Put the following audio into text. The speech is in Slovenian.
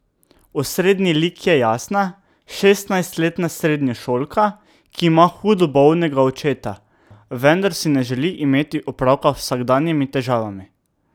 Osrednji lik je Jasna, šestnajstletna srednješolka, ki ima hudo bolnega očeta, vendar si ne želi imeti opravka z vsakodnevnimi težavami.